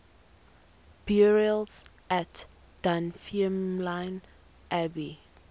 burials at dunfermline abbey